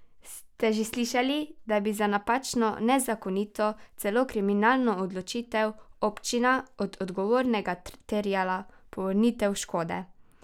Ste že slišali, da bi za napačno, nezakonito, celo kriminalno odločitev občina od odgovornega terjala povrnitev škode?